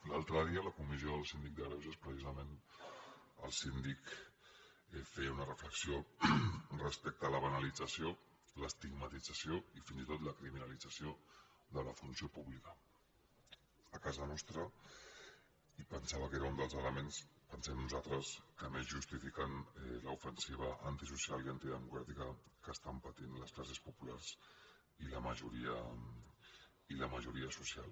l’altre dia a la comissió del síndic de greuges precisament el síndic feia una reflexió respecte a la banalització l’estigmatització i fins i tot la criminalització de la funció pública a casa nostra i pensava que era un dels elements pensem nosaltres que més justifiquen l’ofensiva antisocial i antidemocràtica que estan patint les classes populars i la majoria social